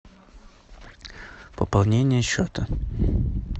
пополнение счета